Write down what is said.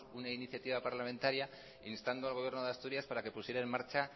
una iniciativa parlamentaria instando al gobierno de asturias para que pusiera en marcha